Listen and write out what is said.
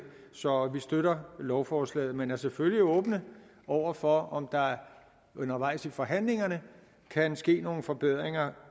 så vi støtter lovforslaget men er selvfølgelig åbne over for om der undervejs i forhandlingerne kan ske nogle forbedringer